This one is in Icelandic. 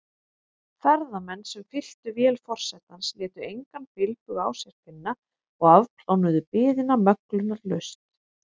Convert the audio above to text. Ferðamenn, sem fylltu vél forsetans, létu engan bilbug á sér finna og afplánuðu biðina möglunarlaust.